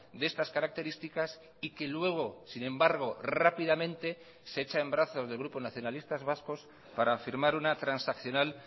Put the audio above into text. de estas características y que luego sin embargo rápidamente se echa en brazos del grupo nacionalistas vascos para firmar una transaccional